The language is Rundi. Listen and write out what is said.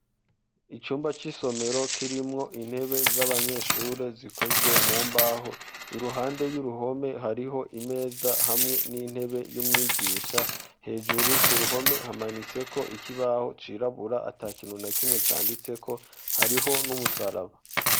icyumba cy'isomero kirimwo intebe z'abanyeshure zikozwe mu mbaho iruhande y'uruhome hariho imeza hamwe n'intebe y'umwigisha hejuru ku ruhome hamanitseko ikibaho cirabura atakintu na kimwe canditseko hariho n'umusaraba